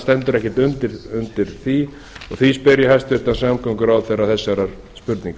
stendur ekki undir því og því spyr ég hæstvirtan samgönguráðherra þessarar spurningar